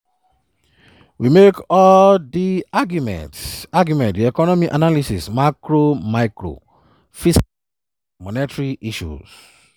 “we make all di arguments arguments di economic analysis macro micro fiscal and monetary issues.